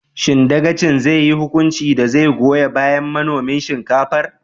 Shin dagacin zai yi hukunci da zai goyon bayan manomin shinkafar?